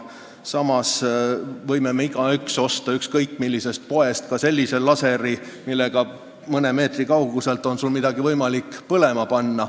Samas võib igaüks osta ükskõik millisest poest sellise laseri, millega on mõne meetri kauguselt võimalik midagi põlema panna.